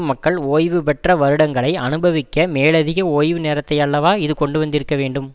மக்கள் ஓய்வுபெற்ற வருடங்களை அனுபவிக்க மேலதிக ஓய்வு நேரத்தையல்லவா இது கொண்டுவந்திருக்கவேண்டும்